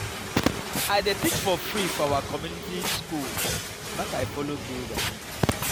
i dey teach for free for our community skool make i folo build am.